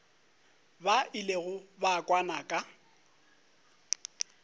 ba ilego ba kwana ka